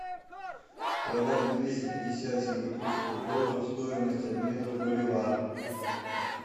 продать двести пятьдесят сингапурских долларов стоимость обмена в боливар